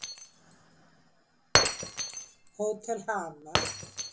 Hótel Hamar